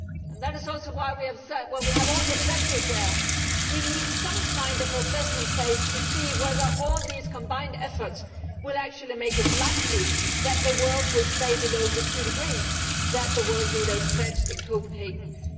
That is also why we have said that when we have all the pledges there, we need some kind of assessment phase to see whether all these combined efforts will actually make it likely that the world will stay below the two degrees that world leaders pledged in Copenhagen in